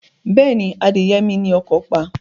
Bẹ́ẹ̀ni, adìyẹ mi ni ọkọ̀ pa.